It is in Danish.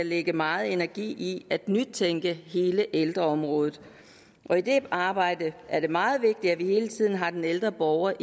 lægge meget energi i at nytænke hele ældreområdet og i det arbejde er det meget vigtigt at vi hele tiden har den ældre borger